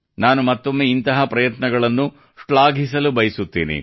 ನಾನು ಮತ್ತೊಮ್ಮೆ ಇಂತಹ ಪ್ರಯತ್ನಗಳನ್ನು ಶ್ಲಾಘಿಸಲು ಬಯಸುತ್ತೇನೆ